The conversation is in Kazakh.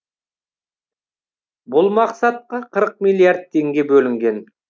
бұл мақсатқа қырыық миллиард теңге бөлінген